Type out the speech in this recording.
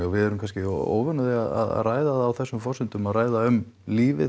við erum kannski óvön því að ræða það á þessum forsendum að ræða um lífið